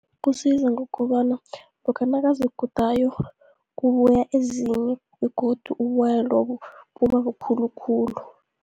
Kusiza ngokobana lokha nakazigudayo kubuya ezinye begodu uboya lobu buba bukhulukhulu.